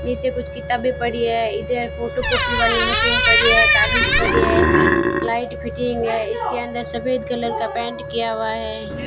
नीचे कुछ किताबे पड़ी है इधर फोटोकॉपी वाली मशीन पड़ी है कागज पड़ी है लाइट फिटिंग है इसके अंदर सफेद कलर का पेंट किया हुआ है।